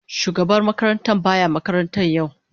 Shugaban makarantar ba ya makaranta yau.